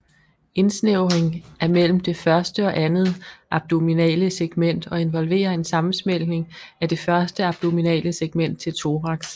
Indsnævringen er mellem det første og andet abdominale segment og involverer en sammensmeltning af det første abdominale segment til thorax